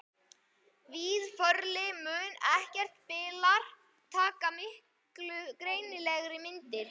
Víðförli mun ef ekkert bilar taka miklu greinilegri myndir.